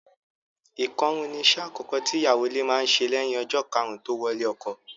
Ìkọrún ni iṣẹ́ àkọ́kọ́ tí ìyàwó ilé máa ń ṣe lẹ́yìn ọjọ́ karùn-ún tó wọlé ọkọ.